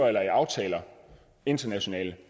eller i aftaler internationalt